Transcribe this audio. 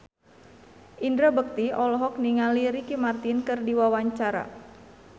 Indra Bekti olohok ningali Ricky Martin keur diwawancara